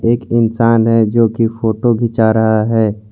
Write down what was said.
एक इंसान है जो कि फोटो खींचा रहा है।